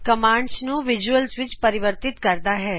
commands ਨੂੰ visuals ਵਿੱਚ ਪਰਿਵਰਤਿਤ ਕਰਦਾ ਹੈ